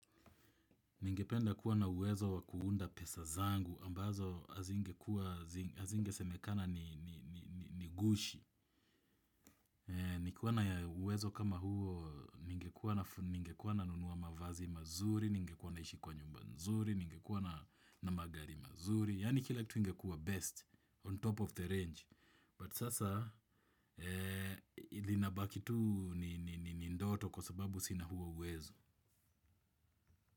Ningependa kuwa na uwezo wa kuunda pesa zangu, ambazo hazingekua, hazingesemekana ni gushi. Ningekuwa na ya uwezo kama huo, ningekuwa nanunua mavazi mazuri, ningekuwa naishi kwa nyumba nzuri, ningekuwa na magari mazuri. Yaani kila kitu ingekua best on top of the range. But sasa, inabaki tu ni ndoto kwa sababu sina huo uwezo.